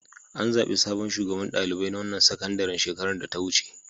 An zaɓi sabon shugaban ɗalibai na wannan sakandaren shekarar da ta wuce.